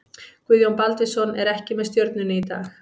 Guðjón Baldvinsson er ekki með Stjörnunni í dag.